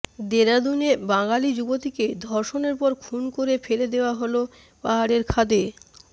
দেরাদুনে বাঙালি যুবতীকে ধর্ষণের পর খুন করে ফেলে দেওয়া হল পাহাড়ের খাদে